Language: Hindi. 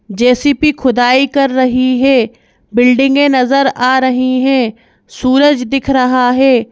जे_सी_पी खुदाई कर रही है बिल्डिंगें नजर आ रही हैं सूरज दिख रहा है।